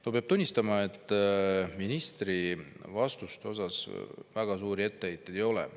No peab tunnistama, et ministri vastuste peale väga suuri etteheiteid ei ole.